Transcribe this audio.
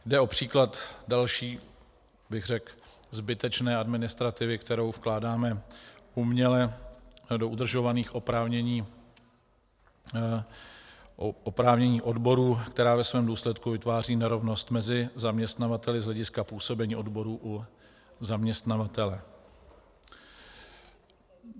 Jde o příklad další, řekl bych zbytečné administrativy, kterou vkládáme uměle do udržovaných oprávnění odborů, která ve svém důsledku vytváří nerovnost mezi zaměstnavateli z hlediska působení odborů u zaměstnavatele.